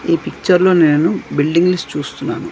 ఈ పిక్చర్ లో నేను బిల్డింగ్స్ చూస్తున్నాను.